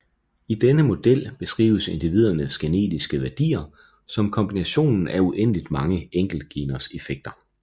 I denne model beskrives individernes genetiske værdier som kombinationen af uendelig mange enkeltgeners effekter